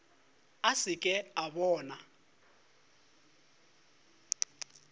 a se ke a bona